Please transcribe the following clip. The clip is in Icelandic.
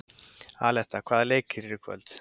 Aletta, hvaða leikir eru í kvöld?